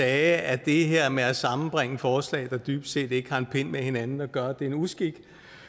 at det her med at sammenbringe forslag der dybest set ikke har en pind med hinanden at gøre er en uskik